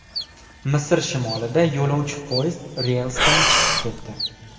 Misr shimolida yo‘lovchi poyezdi relsdan chiqib ketdi.